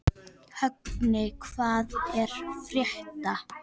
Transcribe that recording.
Högni, hvað er að frétta?